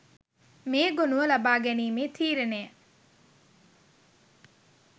මේ ගොනුව ලබා ගැනීමේ තීරණය